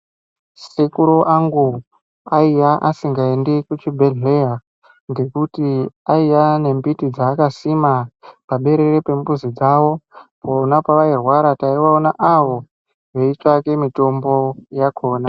Sekuru angu aiya asingaendi kuchibhedhleya ngokuti aiya nembiti dzaakasima paberere pembuzi dzawo vana pavairwara taivaona avo veitsvake mitombo yakona.